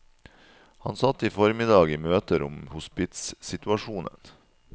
Han satt i formiddag i møter om hospitssituasjonen.